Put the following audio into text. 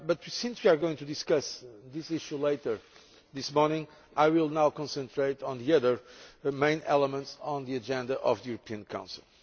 Since we are going to discuss this issue later this morning, I will now concentrate on the other main elements on the agenda of the Council.